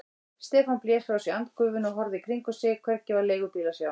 Stefán blés frá sér andgufunni og horfði í kringum sig, hvergi var leigubíl að sjá.